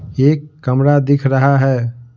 एक कमरा दिख रहा है।